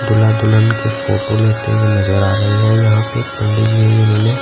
दुल्हा दुल्हन के फोटो लेते हुए नजर आ रहे हैं यहां पे एक पंडित जी हैं जिन्होंने--